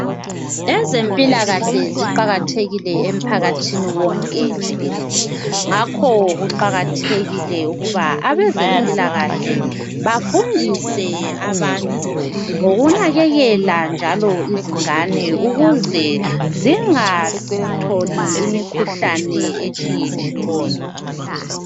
Ezempilakahle ziqakathekile emphakathini wonke jikelele ngakho kuqakathekile ukuba abezempilakahle bafundise abantu ngokunakekela njalo izingane ukuze zingatholi imikhuhlane etshiyetshiyeneyo.